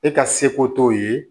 E ka seko t'o ye